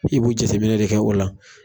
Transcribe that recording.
I b'o jateminɛ de kɛ o la.